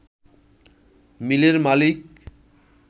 মিলের মালিক